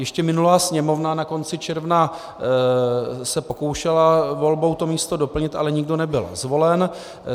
Ještě minulá Sněmovna na konci června se pokoušela volbou to místo doplnit, ale nikdo nebyl zvolen.